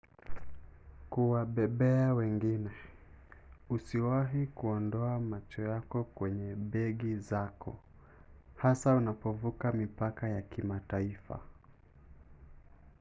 kuwabebea wengine - usiwahi kuondoa macho yako kwenye begi zako hasa unapovuka mipaka ya kimataifa